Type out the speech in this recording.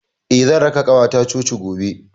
Eh, zan raka ƙawata coci gobe.